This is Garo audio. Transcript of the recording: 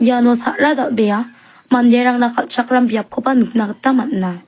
iano sa·ra dal·bea manderangna kal·chakram biapkoba nikna gita man·a.